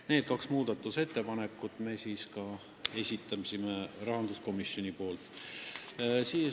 Need kaks muudatusettepanekut me esitasime rahanduskomisjoni nimel.